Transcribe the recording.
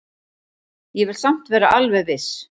Ég vil samt vera alveg viss.